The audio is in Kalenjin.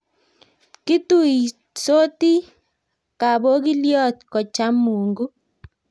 kituisoti kapogilyot kocham mungu